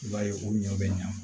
I b'a ye u ɲɔ bɛ ɲa